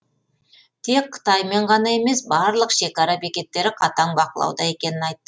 тек қытаймен ғана емес барлық шекара бекеттері қатаң бақылауда екенін айтты